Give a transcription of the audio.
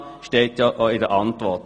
Das steht in der Antwort.